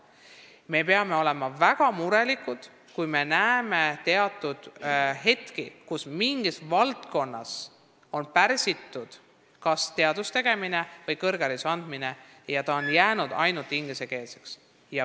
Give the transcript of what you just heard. Me peame olema väga murelikud, kui me näeme mingil hetkel, et mõnes valdkonnas kas teaduse tegemine või kõrghariduse andmine on pärsitud ja jäänud ainult ingliskeelseks.